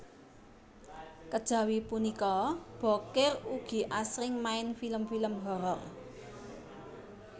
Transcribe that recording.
Kejawi punika Bokir ugi asring main film film horor